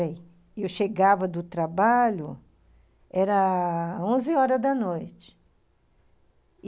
Eu chegava do trabalho, era onze horas da noite.